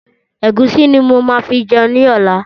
Ẹ̀gúsí ni máa fi jẹun ní ọ̀la.